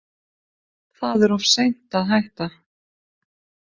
Það er of seint að hætta.